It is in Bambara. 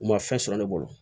U ma fɛn sɔrɔ ne bolo